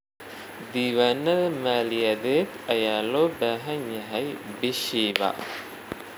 Diiwaanada maaliyadeed ayaa loo baahan yahay bishiiba.